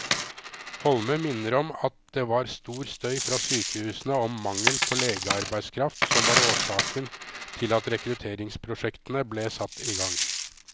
Holme minner om at det var stor støy fra sykehusene om mangel på legearbeidskraft som var årsaken til at rekrutteringsprosjektene ble satt i gang.